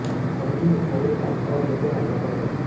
प्रदूषण के फैलने का एक और ज़रिया है वातवरण